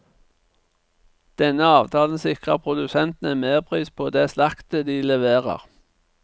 Denne avtalen sikrer produsentene en merpris på det slaktet de leverer.